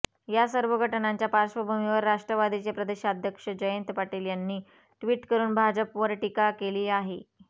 या सर्व घटनांच्या पार्श्वभूमीवर राष्ट्रवादीचे प्रदेशाध्यक्ष जयंत पाटील यांनी ट्वीट करुन भाजपवर टीका केली आहे